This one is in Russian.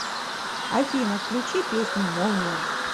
афина включи песню молния